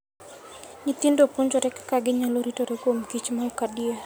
Nyithindo puonjore kaka ginyalo ritore kuom kich ma ok adier.